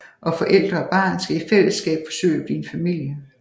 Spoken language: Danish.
Og forældre og barn skal i fællesskab forsøge at blive en familie